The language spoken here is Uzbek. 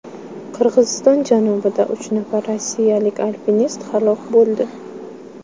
Qirg‘iziston janubida uch nafar rossiyalik alpinist halok bo‘ldi.